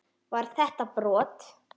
Var þetta brot?